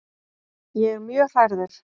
Ég er mjög hrærður.